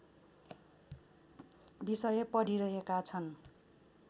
विषय पढिरहेका छन्